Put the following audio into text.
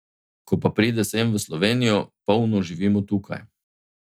Ko pa pride sem, v Slovenijo, polno živimo tukaj.